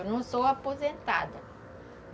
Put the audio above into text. Eu não sou aposentada.